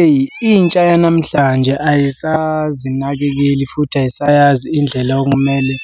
Eyi intsha yanamhlanje ayisazinakekeli futhi ayisayazi indlela okumele